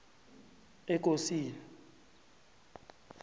ekosini